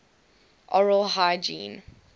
oral hygiene